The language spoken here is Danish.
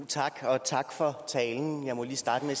tak og tak for talen jeg må lige starte med